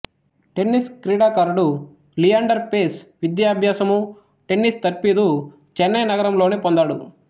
tennis క్రీడాకారుడు లియాండర్ పేస్ విద్యాభ్యాసము tennis తర్ఫీదు చెన్నై నగరంలోనే పొందాడు